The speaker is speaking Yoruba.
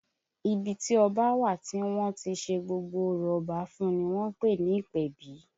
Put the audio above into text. Ibi tí ọba a wà tí wọ́n á ti ṣe gbogbo orò Ọba fún un ni wọ́n ń pè ní ìpèbí